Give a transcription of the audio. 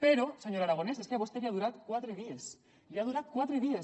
però senyor aragonès és que a vostè li ha durat quatre dies li ha durat quatre dies